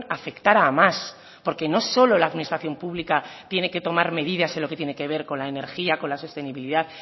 afectará a más porque no solo la administración pública tiene que tomar medidas en lo que tiene que ver con la energía con la sostenibilidad